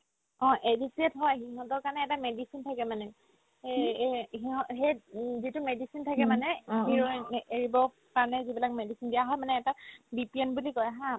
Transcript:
অ, addicted হয় সিহতৰ কাৰণে এটা medicine থাকে মানে এই এই সিহত সেত যিটো medicine থাকে মানে heroine নে এৰিবৰ কাৰণে যিবিলাক medicine দিয়া হয় মানে এটা BPN বুলি কই haa